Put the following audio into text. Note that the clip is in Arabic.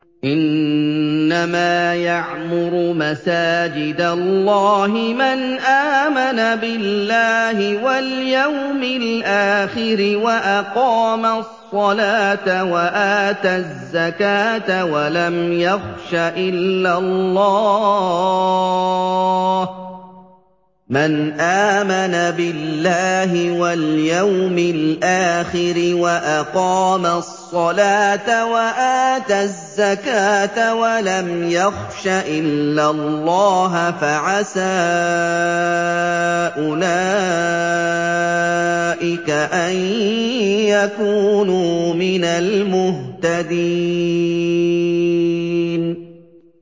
إِنَّمَا يَعْمُرُ مَسَاجِدَ اللَّهِ مَنْ آمَنَ بِاللَّهِ وَالْيَوْمِ الْآخِرِ وَأَقَامَ الصَّلَاةَ وَآتَى الزَّكَاةَ وَلَمْ يَخْشَ إِلَّا اللَّهَ ۖ فَعَسَىٰ أُولَٰئِكَ أَن يَكُونُوا مِنَ الْمُهْتَدِينَ